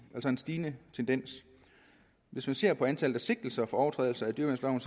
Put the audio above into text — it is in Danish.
altså en stigende tendens hvis man ser på antallet af sigtelser for overtrædelse af dyreværnsloven